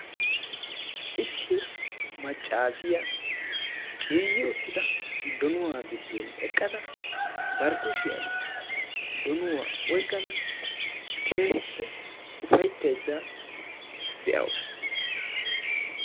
Issi maccaasiyaa ciiyyi uttida donuwaa giddon eqqada bari kushiyan donuwaa oyqqada keehippe ufayittaydda de"awusu.